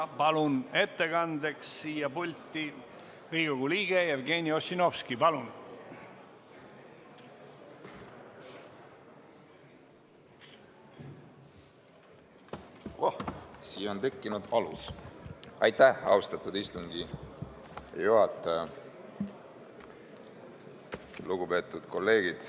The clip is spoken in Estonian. Palun ettekandeks pulti Riigikogu liikme Jevgeni Ossinovski!